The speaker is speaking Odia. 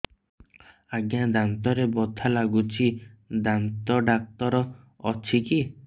ଆଜ୍ଞା ଦାନ୍ତରେ ବଥା ଲାଗୁଚି ଦାନ୍ତ ଡାକ୍ତର ଅଛି କି